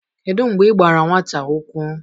kedu mgbe i gbara nwata ụkwụ?